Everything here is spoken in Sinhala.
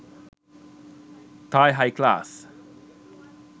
thai high class